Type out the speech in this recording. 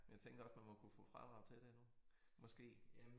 Men jeg tænker også man må kunne få fradrag til det nu måske